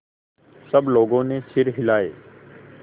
सब लोगों ने सिर हिलाए